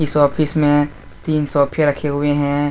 इस ऑफिस में तीन सोफे रखे हुए।